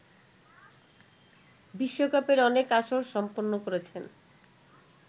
বিশ্বকাপের অনেক আসর সম্পন্ন করেছেন